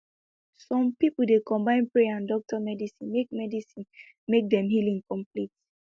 some pipo dey combine prayer and doctor medicine make medicine make dem healing complete